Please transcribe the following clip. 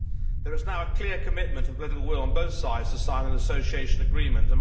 There is now a clear commitment and political will on both sides to sign an Association Agreement.